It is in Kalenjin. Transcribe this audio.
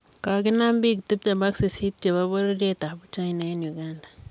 Koginam biik tiptem ak sisiit chebo bororiyet ab Uchina en Uganda.